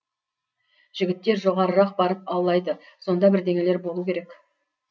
жігіттер жоғарырақ барып аулайды сонда бірдеңелер болу керек